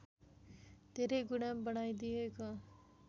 धेरै गुणा बढाइदिएको